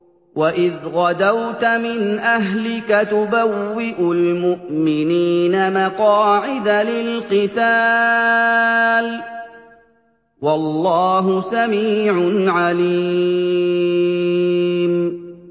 وَإِذْ غَدَوْتَ مِنْ أَهْلِكَ تُبَوِّئُ الْمُؤْمِنِينَ مَقَاعِدَ لِلْقِتَالِ ۗ وَاللَّهُ سَمِيعٌ عَلِيمٌ